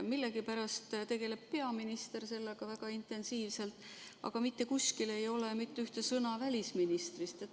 Millegipärast tegeleb peaminister selle teemaga väga intensiivselt, aga mitte kuskil ei ole ühtegi sõna välisministrist.